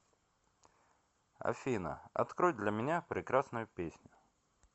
афина открой для меня прекрасную песню